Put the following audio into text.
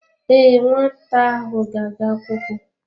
Ee, nwata ahụ ga-aga akwụkwọ.